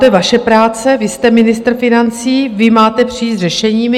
To je vaše práce, vy jste ministr financí, vy máte přijít s řešeními.